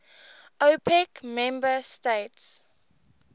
opec member states